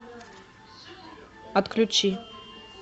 отключи